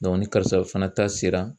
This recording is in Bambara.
ni karisaw fana ta sera